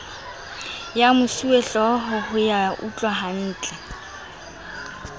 ya mosuwehlooho ho ya utlwahantle